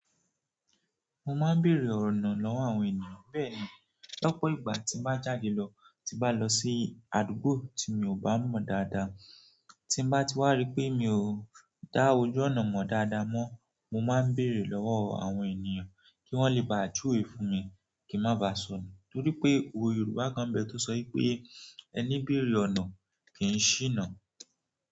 Mo máa ń bèèrè ọ̀nà na lọ́wọ́ àwọn ènìyàn. Bẹ́ẹ̀ ni, lọ́pọ̀ ìgbà tí mo bá jáde lọ, tí bá lọ sí àdúgbò tí mi ò bá mọ̀ dáadáa, tí n bá ti wá rí pé mi ò dá ojú ọ̀nà mọ̀ dáadáa mọ́, mo máa ń bèèrè lọ́wọ́ àwọn ènìyàn kí wọ́n le bá à jú wé fún mi kí n máa ba sọnù. Nítorí pé òwe Yorùbá kan n bẹ tó sọ wi pé "Ẹní béèrè ọ̀nà kì í ṣíná".